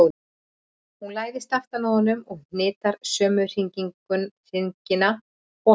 Hún læðist aftan að honum og hnitar sömu hringina og hann.